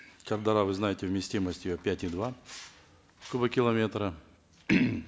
шардара вы знаете вместимость ее пять и два кубокилометра